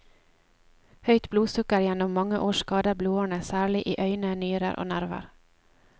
Høyt blodsukker gjennom mange år skader blodårene særlig i øyne, nyrer og nerver.